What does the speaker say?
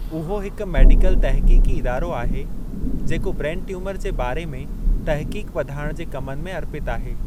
उहो हिकु मेडिकल तहक़ीक़ी इदारो आहे जेको ब्रेन ट्यूमर जे बारे में तहक़ीक़ वधाइण जे कमनि में अर्पितु आहे।